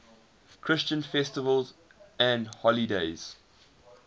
christian festivals and holy days